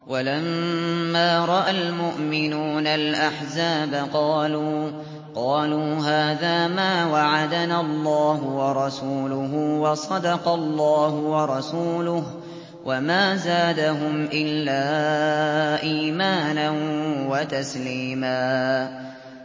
وَلَمَّا رَأَى الْمُؤْمِنُونَ الْأَحْزَابَ قَالُوا هَٰذَا مَا وَعَدَنَا اللَّهُ وَرَسُولُهُ وَصَدَقَ اللَّهُ وَرَسُولُهُ ۚ وَمَا زَادَهُمْ إِلَّا إِيمَانًا وَتَسْلِيمًا